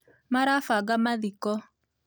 Marabanga mathiko